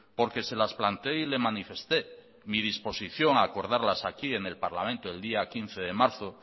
porque se las plantee y le manifesté mi disposición a acordarlas aquí en el parlamento el día quince de marzo